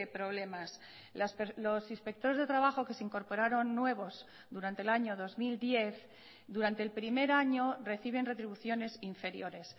problemas los inspectores de trabajo que se incorporaron nuevos durante el año dos mil diez durante el primer año reciben retribuciones inferiores